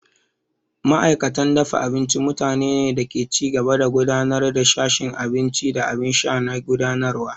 Ma'aikatan dafa abinci mutanene ne da ke ci gaba da gudanar da sashin abinci da abin sha na gudanarwa.